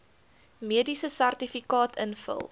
mediese sertifikaat invul